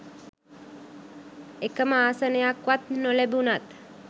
එකම ආසනයක්වත් නොලැබුණත්